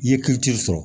I ye kiri sɔrɔ